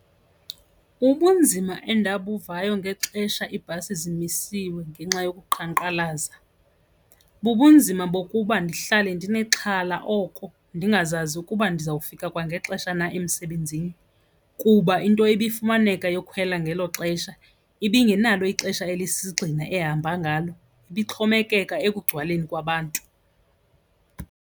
Ubunzima endabuvayo ngexesha iibhasi zimisiwe ngenxa yokuqhankqalaza bubunzima bokuba ndihlale ndinexhala oko ndingazazi ukuba ndizawufika kwangexesha na emsebenzini kuba into ibifumaneka yokhwela ngelo xesha ibingenalo ixesha elisisigxina ehamba ngalo, ibixhomekeka ekugcwaleni kwabantu.